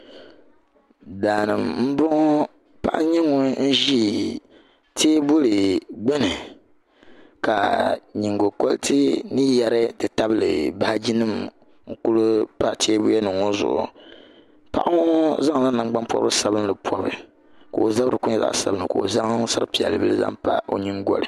Daa m-bɔŋɔ paɣa n-nyɛ ŋun ʒi teebuli gbuni ka nyiŋgukuriti ni yari nti tabili baajinima n-kuli pa teebulinima ŋɔ zuɣu paɣa ŋɔ zaŋla nangban’pɔrigu sabinli m-pɔbi ka o zabiri kuli nyɛ zaɣ’sabinli ka o zaŋ sar’piɛlli bila zaŋ pa o nyiŋgɔli